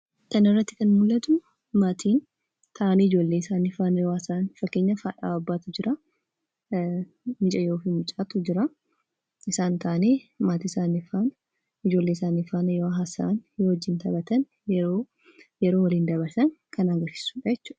Kana irratti kan mul'atu, maatiin taa'anii ijoollee isaanii faana yoo haasawan, fakkeenyaaf haadhaa fi abbaatu jiraa, mucayyoo fi mucaatu jiraa isaan taa'anii maatii isaanii faana, ijoollee isaanii faana yoo haasa'an, taphatan yeroo waliin dabarsan kan agarsiisudha.